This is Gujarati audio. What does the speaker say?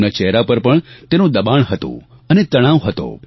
તેમના ચહેરા પર પણ તેનું દબાણ હતું અને તણાવ હતો